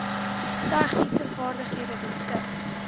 tegniese vaardighede beskik